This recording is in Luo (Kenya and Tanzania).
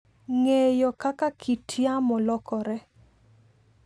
Ng'eyo kaka kit yamo lokore.